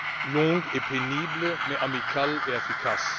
longue et pénible, mais amicale et efficace.